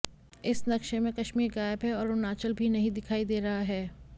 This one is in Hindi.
इस नक्शे में कश्मीर गायब है और अरुणाचल भी नहीं दिखाई दे रहा है